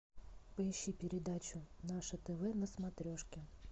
поищи передачу наше тв на смотрешке